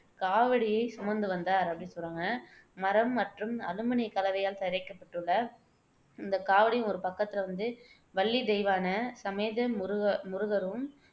காவடியைச் சுமந்து வந்தார் அப்படின்னு சொல்றாங்க. மரம் மற்றும் அலுமினியக் கலவையால் தயாரிக்கப்பட்டுள்ள இந்தக் காவடியின் ஒரு பக்கத்துல வந்து வள்ளி, தெய்வானை சமேத முருக முருகரும்,